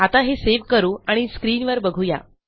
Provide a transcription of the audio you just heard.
आता हे सेव्ह करू आणि स्क्रीनवर बघू या